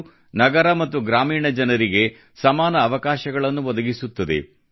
ಇದು ನಗರ ಮತ್ತು ಗ್ರಾಮೀಣ ಜನರಿಗೆ ಸಮಾನ ಅವಕಾಶಗಳನ್ನು ಒದಗಿಸುತ್ತದೆ